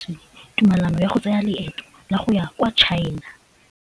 O neetswe tumalanô ya go tsaya loetô la go ya kwa China.